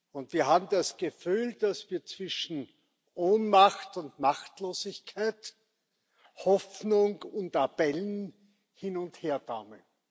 Und wir haben das Gefühl, dass wir zwischen Ohnmacht und Machtlosigkeit, Hoffnung und Appellen hin und her taumeln.